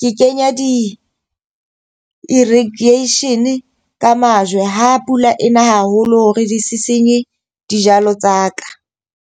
ke kenya di-radiation ka majwe ha pula ena haholo hore di se senye dijalo tsa ka.